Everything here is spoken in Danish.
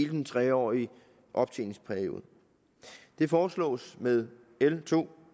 den tre årige optjeningsperiode det foreslås med l to